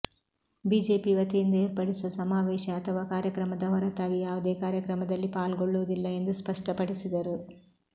BJP ವತಿಯಿಂದ ಏರ್ಪಡಿಸುವ ಸಮಾ ವೇಶ ಅಥವಾ ಕಾರ್ಯಕ್ರಮದ ಹೊರ ತಾಗಿ ಯಾವುದೇ ಕಾರ್ಯಕ್ರಮದಲ್ಲಿ ಪಾಲ್ಗೊಳ್ಳುವುದಿಲ್ಲ ಎಂದು ಸ್ಪಷ್ಟಪಡಿಸಿದರು